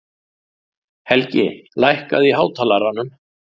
Helgi, lækkaðu í hátalaranum.